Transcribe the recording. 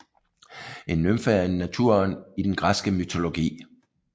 En nymfe er en naturånd i den græske mytologi